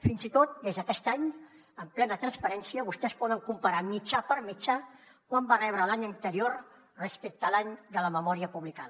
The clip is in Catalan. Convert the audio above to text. fins i tot des d’aquest any amb plena transparència vostès poden comparar mitjà per mitjà quant va rebre l’any anterior respecte a l’any de la memòria publicada